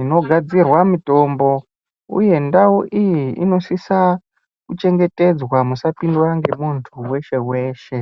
inogadzirwa mutombo uye ndau iyi inosis kuchengetedzwa isapindwa ngemuntu weshe weshe.